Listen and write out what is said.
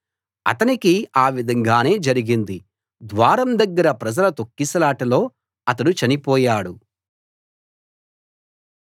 అతనికి ఆ విధంగానే జరిగింది ద్వారం దగ్గర ప్రజల తొక్కిసలాటలో అతడు చనిపోయాడు